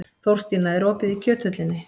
Þórstína, er opið í Kjöthöllinni?